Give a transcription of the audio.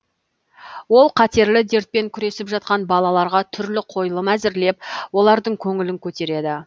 ол қатерлі дертпен күресіп жатқан балаларға түрлі қойылым әзірлеп олардың көңілін көтереді